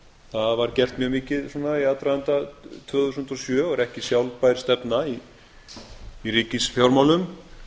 það var gert mjög mikið svona í aðdraganda tvö þúsund og sjö og er ekki sjálfbær stefna í ríkisfjármálum